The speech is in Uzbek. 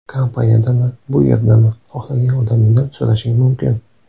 Kompaniyadami, bu yerdami, xohlagan odamingdan so‘rashing mumkin.